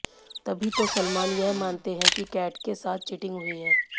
तभी तो सलमान यह मानते हैं कि कैट के साथ चीटिंग हुई है